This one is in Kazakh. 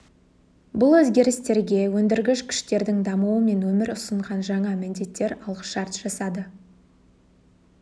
бұл өзгерістерге өндіргіш күштердің дамуы мен өмір ұсынған жаңа міндеттер алғышарт жасады